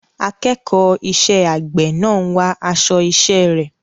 Akẹ́kọ̀ọ́ iṣẹ́ àgbẹ̀ náà ń wá aṣọ iṣẹ́ rẹ̀.